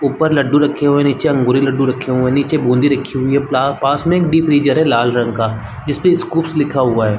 ऊपर लड्डू रखे हुए है निचे अंगूरी लड्डू रखे हुए है निचे बूंदी राखी हुई है पास में डीप_फ्रीजर लाल रंग का जिसमे स्कूपस लिखा हुआ है।